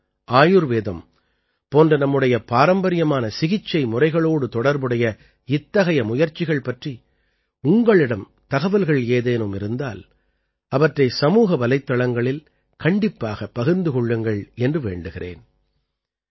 யோகம் ஆயுர்வேதம் போன்ற நம்முடைய பாரம்பரியமான சிகிச்சை முறைகளோடு தொடர்புடைய இத்தகைய முயற்சிகள் பற்றி உங்களிடம் தகவல்கள் ஏதேனும் இருந்தால் அவற்றை சமூக வலைத்தளங்களில் கண்டிப்பாகப் பகிர்ந்து கொள்ளுங்கள் என்று வேண்டுகிறேன்